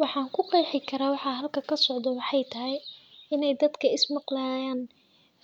Waxan kuqexi kara waxa meeshan kasocdo inu yahay iswadaag oo